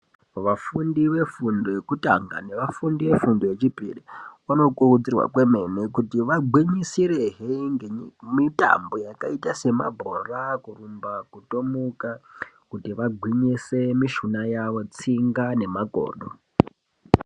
Vafundi vefundo yekutanga nevafundi vefundo yechipiri vanokurudzirwa kwemene kuti vagwinyirisire ngemitambo yakaita nemabhora kurumba, kutomuka kuti vagwinyise mishuna yavo, tsinga nemakodo.